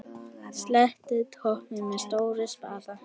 Sléttið toppinn með stórum spaða.